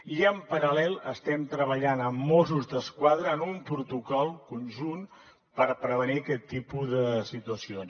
i en paral·lel estem treballant amb mossos d’esquadra en un protocol conjunt per prevenir aquest tipus de situacions